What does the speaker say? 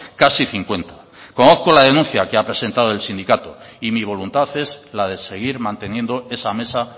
casi cincuenta conozco la denuncia que ha presentado el sindicato y mi voluntad es la de seguir manteniendo esa mesa